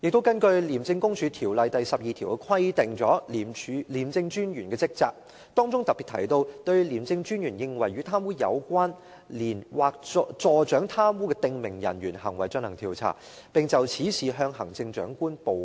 此外，《廉政公署條例》第12條就廉政專員的職責作出規定，當中特別提到："對廉政專員認為與貪污有關連或助長貪污的訂明人員行為進行調查，並就此事向行政長官報告"。